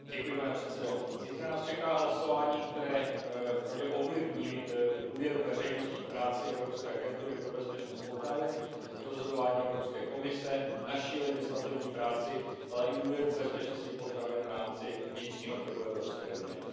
Pane předsedající, zítra nás čeká hlasování, které vpravdě ovlivní důvěru veřejnosti k práci Evropské agentury pro bezpečnost potravin, k rozhodování Evropské komise, naší legislativní práci, ale i důvěru v bezpečnost potravin v rámci vnitřního trhu Evropské unie.